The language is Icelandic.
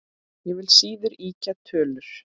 Ég vil síður ýkja tölur.